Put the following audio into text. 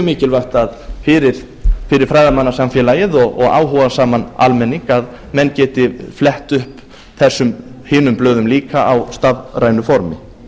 mikilvægt fyrir fræðimannasamfélagið og áhugasaman almenning að menn geti flett upp þessum hinum blöðum líka á stafrænu formi